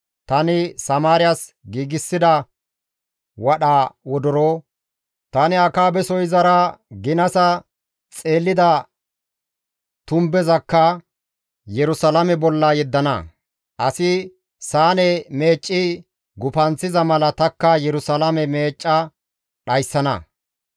Tani Samaariyas giigsida wadha wodoro, tani Akaabeso izara ginasa xeellida tumbezakka Yerusalaame bolla yeddana; asi saane meecci gufanththiza mala tanikka Yerusalaame meecca dhayssana.